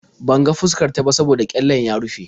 Ban ga fuskar ta ba saboda ƙyallen ya rufe.